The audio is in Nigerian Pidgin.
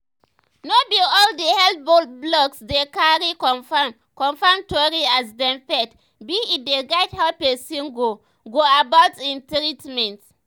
no be all the health blogs dey cari confirm confirm tori as dem faith be e dey guide how pesin go go about im treatment.